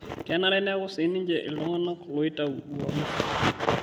Kenare neeku sii ninche ltung'ana loitau uamusi